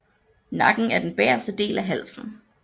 Nakken er den bagerste del af halsen